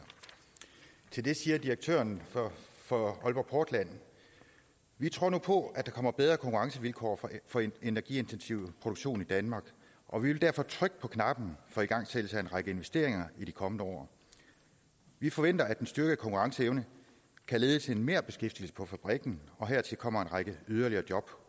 til det siger direktøren for aalborg portland vi tror nu på at der kommer bedre konkurrencevilkår for energiintensiv produktion i danmark og vi vil derfor trykke på knappen for igangsættelse af en række investeringer i de kommende år vi forventer at den styrkede konkurrenceevne kan lede til en merbeskæftigelse på fabrikken og hertil kommer en række yderligere job